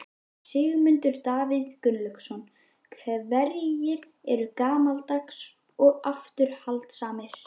Sigmundur Davíð Gunnlaugsson: Hverjir eru gamaldags og afturhaldssamir?